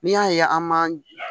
N'i y'a ye an ma